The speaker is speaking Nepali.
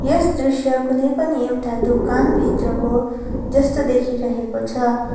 यस दृश्य कुनै पनि एउटा दोकानभित्रको जस्तो देखिरहेको छ।